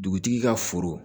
Dugutigi ka foro